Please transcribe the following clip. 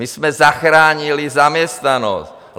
My jsme zachránili zaměstnanost.